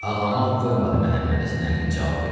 Ağlamaq qoymadı Məhəmmədhəsən əmini cavab versin.